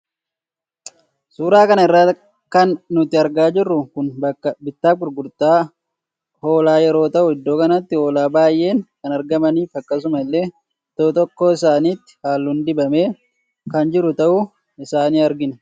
Suura kana irraa kan nuti argaa jirru kun bakka bittaafi gurguttaa hoolaa yeroo tahu iddoo kanatti hoolaa baayeen kan argamanii fi akkasuma illee tokkoo tokkoo isaaniitti halluun dibamee kan jiru tahuu isaa in argina